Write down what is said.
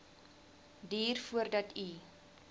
duur voordat u